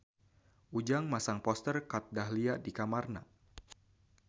Ujang masang poster Kat Dahlia di kamarna